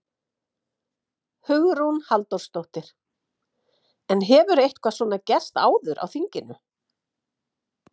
Hugrún Halldórsdóttir: En hefur eitthvað svona gerst áður á þinginu?